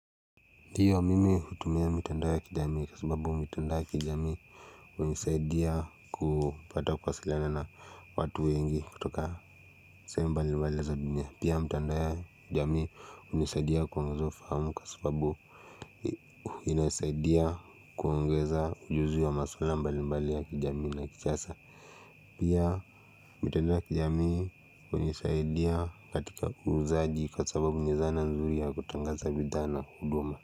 Ndiyo mimi hutumia mitandao ya kijamii kwa sababu mitandao ya kijamii usaidia kupata kuwasiliana na watu wengi kutoka mbali mbali za dunia pia mtandao ya jamii hunisaidia kuongeza ufahamu kwa sababu inasaidia kuongeza ujuzi wa maswala mbali mbali ya kijamii na kisasa pia mitanda ya kijami hunisaidia katika kuuzaji kwa sababu ni zana nzuri ya kutangaza vidhana huduma.